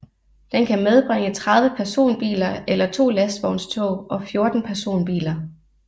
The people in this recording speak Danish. Den kan medbringe 30 personbiler eller 2 lastvognstog og 14 personbiler